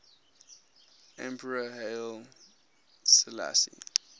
emperor haile selassie